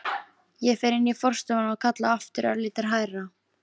Ég fer inn í forstofuna og kalla aftur, örlítið hærra.